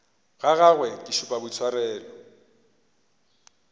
ga gagwe ke šupa boitshwaro